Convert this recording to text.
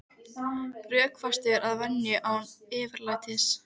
Rökfastur að venju en án yfirlætis.